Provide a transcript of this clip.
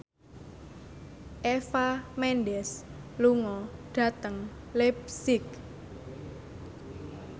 Eva Mendes lunga dhateng leipzig